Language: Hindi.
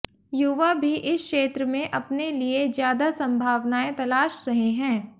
युवा भी इस क्षेत्र में अपने लिये ज्यादा संभावनाएं तलाश रहे हैं